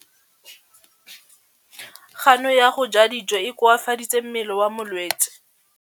Kganô ya go ja dijo e koafaditse mmele wa molwetse.